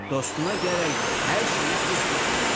Dostuna gərək hər şeyi düz deyəsən.